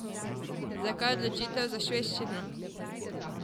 Zakaj odločitev za švedščino?